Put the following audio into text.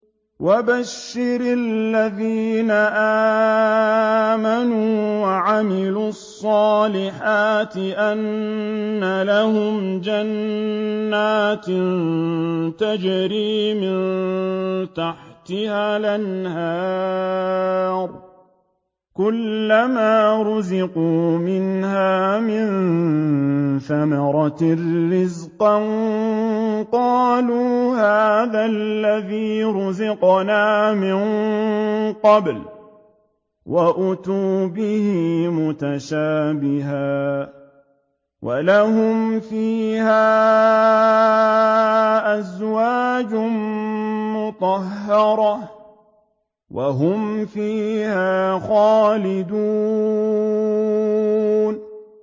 وَبَشِّرِ الَّذِينَ آمَنُوا وَعَمِلُوا الصَّالِحَاتِ أَنَّ لَهُمْ جَنَّاتٍ تَجْرِي مِن تَحْتِهَا الْأَنْهَارُ ۖ كُلَّمَا رُزِقُوا مِنْهَا مِن ثَمَرَةٍ رِّزْقًا ۙ قَالُوا هَٰذَا الَّذِي رُزِقْنَا مِن قَبْلُ ۖ وَأُتُوا بِهِ مُتَشَابِهًا ۖ وَلَهُمْ فِيهَا أَزْوَاجٌ مُّطَهَّرَةٌ ۖ وَهُمْ فِيهَا خَالِدُونَ